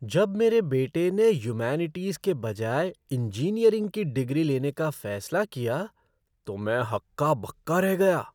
जब मेरे बेटे ने ह्यूमैनिटीज़ के बजाय इंजीनियरिंग की डिग्री लेने का फैसला किया तो मैं तो हक्का बक्का रह गया।